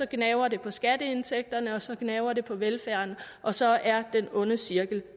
gnaver det på skatteindtægterne og så gnaver det på velfærden og så er den onde cirkel